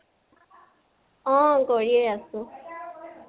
অহ। কৰিয়ে আছো।